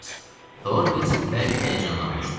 Horvits bərk həyəcanlanmışdı.